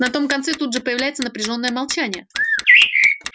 на том конце тут же появляется напряжённое молчание